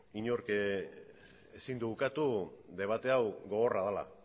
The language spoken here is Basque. inork ezin du ukatu debate hau gogorra dela